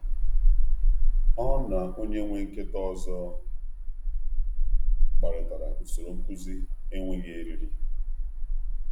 Ọ na onye nwe um nkịta ọzọ nkịta ọzọ kparịtara usoro nkuzi enweghị eriri. um